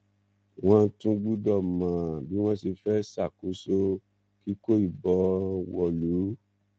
wọn tún gbọdọ mọ bí wọn ṣe fẹẹ ṣàkóso kíkó ìbọn wọlú